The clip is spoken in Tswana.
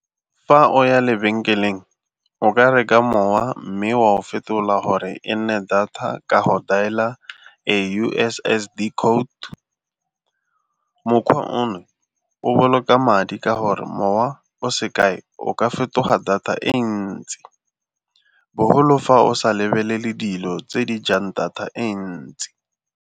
Fa o ya lebenkeleng o ka reka mowa mme wa o fetola gore e nne data ka go dial-a a U_S_S_D code. Mokgwa ono o boloka madi ka gore mowa o se kae o ka fetoga data e ntsi boholo fa o sa lebelele dilo tse di jang data e ntsi.